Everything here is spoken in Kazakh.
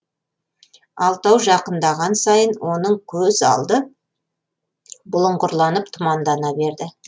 алтау жақындаған сайын оның көз алды бұлыңғырланып тұмандана берді